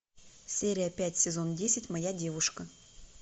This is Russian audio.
серия пять сезон десять моя девушка